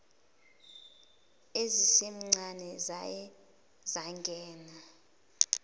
ezisencane zaye zangena